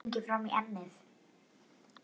Stingir fram í ennið.